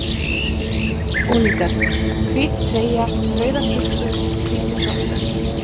Búningar: Hvít treyja, rauðar buxur, hvítir sokkar.